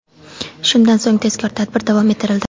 Shundan so‘ng tezkor tadbir davom ettirildi.